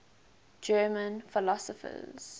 german philosophers